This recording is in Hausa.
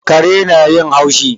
Kare na yin haushi